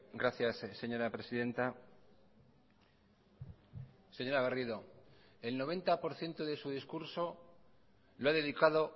gracias señora presidenta señora garrido el noventa por ciento de su discurso lo ha dedicado